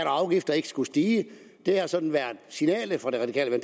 og afgifter ikke skulle stige det har sådan været signalet fra det radikale